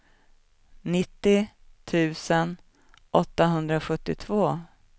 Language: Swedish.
nittio tusen åttahundrasjuttiotvå